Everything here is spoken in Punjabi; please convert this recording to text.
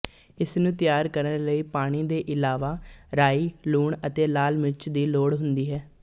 ਇਸਨੂੰ ਤਿਆਰ ਕਰਨ ਲਈ ਪਾਣੀ ਦੇ ਇਲਾਵਾਰਾਈ ਲੂਣ ਅਤੇ ਲਾਲ ਮਿਰਚ ਦੀ ਲੋੜ ਹੁੰਦੀ ਹੈ